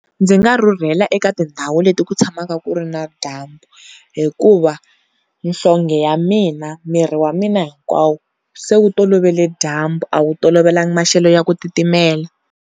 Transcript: Ndzi nga rhurhela eka tindhawu leti ku tshamaka ku ri na dyambu hikuva nhlonge ya mina miri wa mina hikwawo se wu tolovele dyambu a wu tolovelanga maxelo ya ku titimela.